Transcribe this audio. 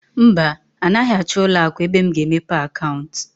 Mba, anaghị achọ ụlọ akụ ebe m ga-emepe akaụntụ.